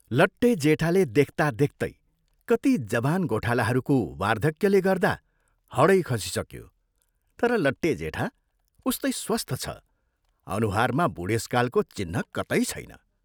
लट्टे जेठाले देख्ता देख्तै कति जवान गोठालाहरूको वार्धक्यले गर्दा हडै खसिसक्यो तर लट्टे जेठा उस्तै स्वस्थ छ अनुहारमा बूढेसकालको चिह्न कतै छैन।